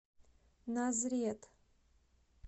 назрет